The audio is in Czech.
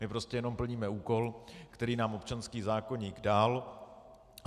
My prostě jenom plníme úkol, který nám občanský zákoník dal.